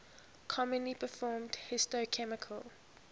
commonly performed histochemical